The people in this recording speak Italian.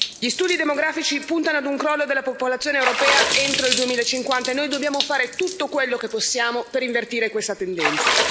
Gli studi demografici puntano ad un crollo della popolazione europea entro il 2050, e noi dobbiamo fare tutto quello che possiamo per invertire questa tendenza.